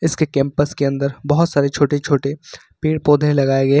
उसके कैंपस के अंदर बहुत सारे छोटे छोटे पेड़ पौधे लगाए गए।